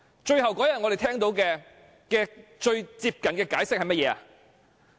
最後那天，我們聽到最接近的解釋是甚麼？